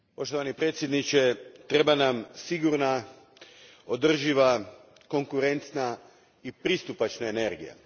Gospodine predsjedniče, treba nam sigurna, održiva, konkurentna i pristupačna energija.